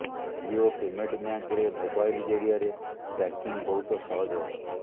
Jio payment ବ୍ୟାଙ୍କରେ mobile ଜରିଆରେ banking ବହୁତ ସହଜ ହେବ